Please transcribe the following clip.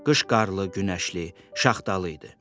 Qış qarlı, günəşli, şaxtalı idi.